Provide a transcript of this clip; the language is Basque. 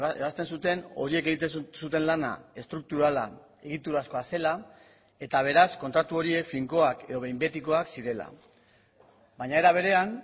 ebazten zuten horiek egiten zuten lana estrukturala egiturazkoa zela eta beraz kontratu horiek finkoak edo behin betikoak zirela baina era berean